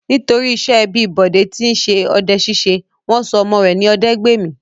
Nítorí iṣẹ́ ẹbí Bọ̀dé tí ń ṣe ọdẹ-ṣíṣe, wọ́n sọ ọmọ rẹ̀ ní Ọdẹ́gbèmí.